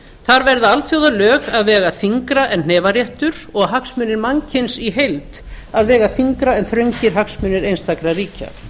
þar verða alþjóðalög að vega þyngra en hnefaréttur og hagsmunir mannkyns í heild að vega þyngra en þröngir hagsmunir einstakra ríkja